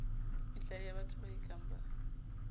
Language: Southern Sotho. metlae yabatho ba ekang ba